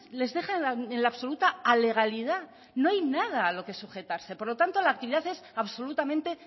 les deja en la absoluta alegalidad no hay nada a lo que sujetarse por lo tanto la actividad es absolutamente